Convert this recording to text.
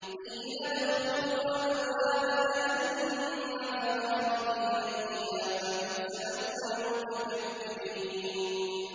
قِيلَ ادْخُلُوا أَبْوَابَ جَهَنَّمَ خَالِدِينَ فِيهَا ۖ فَبِئْسَ مَثْوَى الْمُتَكَبِّرِينَ